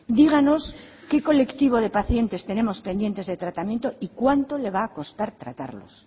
díganos qué colectivo de pacientes tenemos pendientes de tratamiento y cuánto le va a costar tratarlos